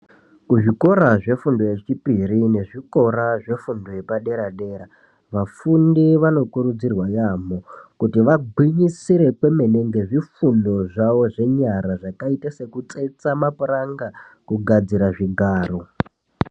Kuzvikora zvefundo yechipiri nezvikora zvefundo yepadera-dera vafundi vanokurudzirwa yaamho kuti vagwinyisire kwemene ngezvifundo zvawo zvenyara zvakaita sekutsetsa mapuranga kugadzira zvigaro.